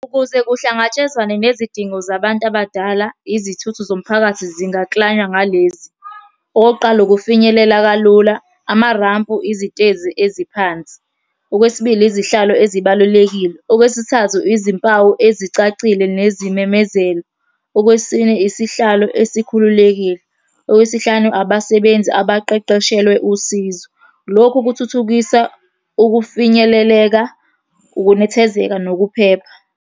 Ukuze kuhlangatshezwane nezidingo zabantu abadala, izithuthi zomphakathi zingaklanywa ngalezi, okokuqala, ukufinyelela kalula. Amarampu, izitezi eziphansi. Okwesibili, izihlalo ezibalulekile. Okwesithathu, izimpawu ezicacile nezimemezelo. Okwesine, isihlalo esikhululekile. Okwesihlanu, abasebenzi abaqeqeshelwe usizo. Lokhu kuthuthukisa ukufinyeleleka, ukunethezeka nokuphepha.